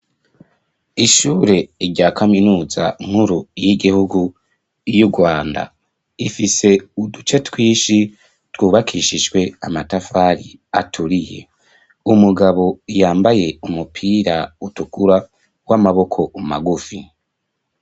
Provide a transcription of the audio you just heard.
Ishure rya kaminuza nkuru y'igihugu y'urwanda, ifise uduce twishi twubakishishwe amatafari aturiye umugabo yambaye umupira utukura w'amaboko umagufi.